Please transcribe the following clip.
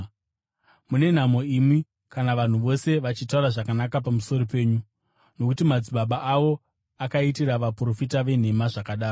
Mune nhamo imi kana vanhu vose vachitaura zvakanaka pamusoro penyu, nokuti madzibaba avo akaitira vaprofita venhema zvakadaro.